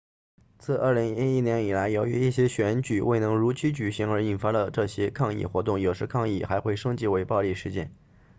自2011年以来由于一些选举未能如期举行而引发了这些抗议活动有时抗议还会升级为暴力事件